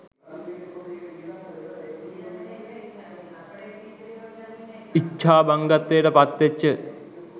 ඉච්ච්චාහංගත්වයට පත්වෙච්ච